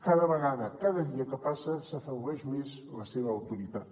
cada vegada cada dia que passa s’afebleix més la seva autoritat